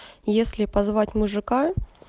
если позвать мужика